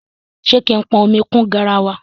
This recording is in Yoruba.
Ṣé kí n pọn omi kún garawa?